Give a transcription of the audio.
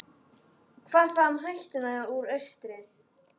Hvað þá um hættuna úr austri?